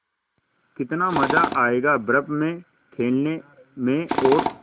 कितना मज़ा आयेगा बर्फ़ में खेलने में और